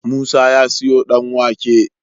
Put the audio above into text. Musa ya siyo dan wake